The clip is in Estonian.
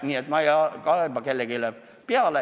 Nii et ma ei kaeba kellegi peale.